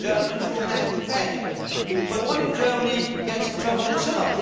Germans will have to pay, but what if Germany gets into trouble itself?